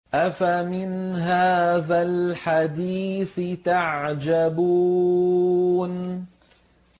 أَفَمِنْ هَٰذَا الْحَدِيثِ تَعْجَبُونَ